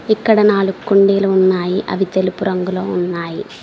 ఇక్కడ నాలుగు కుండీలు ఉన్నాయి అవి తెలుపు రంగులో ఉన్నాయి.